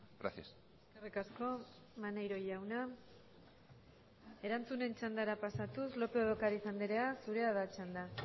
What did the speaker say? gracias eskerrik asko maneiro jauna erantzunen txandara pasatuz lópez de ocariz andrea zurea da txanda